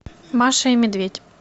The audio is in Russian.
маша и медведь